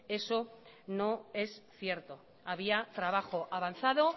eso no es cierto había trabajo avanzado